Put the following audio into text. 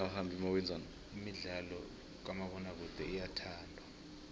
imidlalo kamabonakude iyathandwa